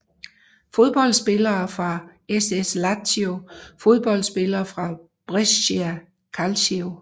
Fodboldspillere fra SS Lazio Fodboldspillere fra Brescia Calcio